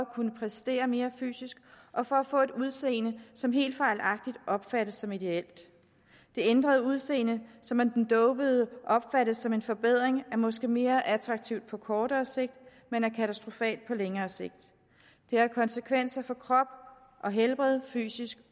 kunne præstere mere fysisk og for at få et udseende som helt fejlagtigt opfattes som ideelt det ændrede udseende som af den dopede opfattes som en forbedring er måske mere attraktivt på kortere sigt men er katastrofalt på længere sigt det har konsekvenser for krop og helbred fysisk